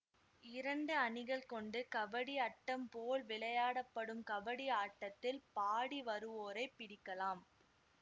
இரண்டு அணிகள் கொண்டு கபடி அட்டம் போல் விளையாட படும் கபடி ஆட்டத்தில் பாடி வருவோரைப் பிடிக்கலாம்